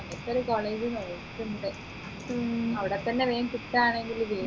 അങ്ങൻതൊരു college ആ നോക്കുന്നത് അവിടെത്തന്നെ വേഗം കിട്ടുആണെങ്ങിൽ വേഗം